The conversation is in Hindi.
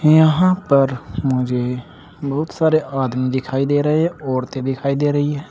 यहां पर मुझे बहुत सारे आदमी दिखाई दे रहे हैं औरतें दिखाई दे रही है।